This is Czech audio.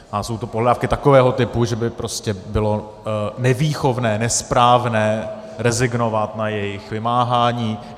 A jsou to pohledávky takového typu, že by prostě bylo nevýchovné, nesprávné rezignovat na jejich vymáhání.